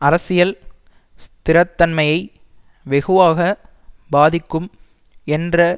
அரசியல் ஸ்திரத்தன்மையை வெகுவாக பாதிக்கும் என்ற